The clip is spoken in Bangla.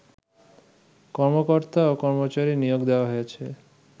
কর্মকর্তা ও কর্মচারী নিয়োগ দেওয়া হয়েছে